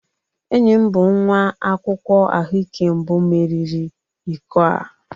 Enyi m bụ nwa akwụkwọ ahụike mbụ meriri iko a